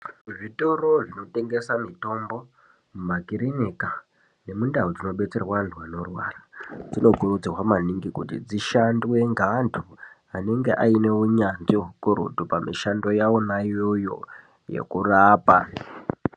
Zvitoro mitombo makirinika nemindau dzinodetserwa antu anorwara, dzinokurudzirwa maningi kuti dzishandwe ngeantu anenge aine unyanzvi hukurutu pamushando yavona iyoyo yekurapa